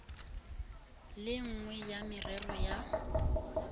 le nngwe ya merero ya